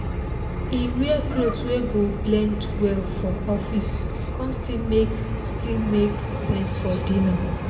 he wear cloth wey go blend well for office con still make still make sense for dinner